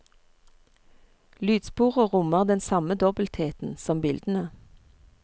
Lydsporet rommer den samme dobbeltheten som bildene.